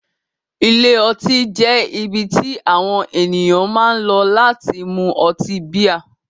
Ilé ọtí jẹ́ ibi tí àwọn ènìyàn máa ń lọ láti mú ọtí bíà.